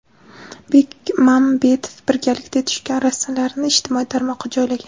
Bekmambetov birgalikda tushgan rasmlarini ijtimoiy tarmoqqa joylagan.